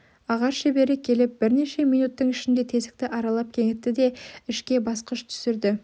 ағаш шебері келіп бірнеше минуттың ішінде тесікті аралап кеңітті де ішке басқыш түсірді